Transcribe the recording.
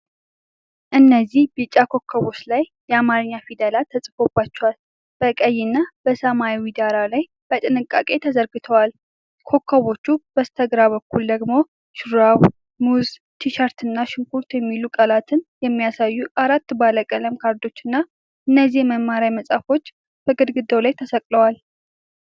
እነዚህ ቢጫ ኮከቦች ላይ የአማርኛ ፊደላት ተጽፈውባቸው፣ በቀይ እና በሰማያዊ ዳራ ላይ በጥንቃቄ ተዘርግተዋል። ከኮከቦቹ በስተግራ በኩል ደግሞ 'ሹራብ'፣ 'ሙዝ'፣ 'ቲሸርት' እና 'ሽንኩርት' የሚሉ ቃላትን የሚያሳዩ አራት ባለቀለም ካርዶችና እነዚህ የመማሪያ መሳሪያዎች በግድግዳ ላይ ተሰቅለዋል።